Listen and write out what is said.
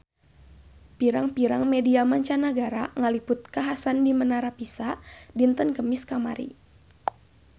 Pirang-pirang media mancanagara ngaliput kakhasan di Menara Pisa dinten Kemis kamari